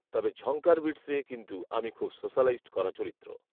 তবে ঝঙ্কার বিটসে কিন্তু আমি খুব সোশালাইজড করা চরিত্র